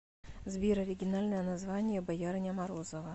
сбер оригинальное название боярыня морозова